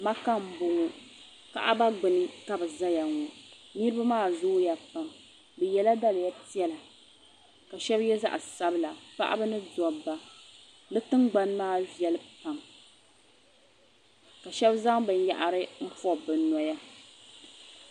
Makka n bɔŋɔ kaaba gbuni ka bɛ ʒiya ŋɔ . bɛ yela daliya piɛla ka shabi ye zaɣi sabila. paɣaba ni daba ,bɛ tiŋ gbani maa veli pam ka shabi zaŋ nyɛ pɔbirisi n pɔbi bɛ nyɛhi ni bi nya niribi maa zooya pam.